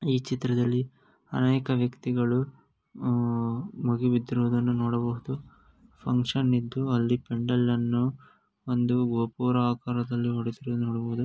ಈ ಚಿತ್ರದಲ್ಲಿ ಅನೇಕ ವ್ಯಕ್ತಿಗಳು ಆ ಮುಗಿಬಿದ್ದಿರುವುದನ್ನು ನೋಡಬಹುದು ಫ್ಹಂಕ್ಷನ್ ಇದ್ದು ಅಲ್ಲಿ ಪೆಂಡಾಲ್ ಅನ್ನು ಒಂದು ಗೋಪುರ ಆಕಾರದಲ್ಲಿ ಹೊಡೆಸಿರು--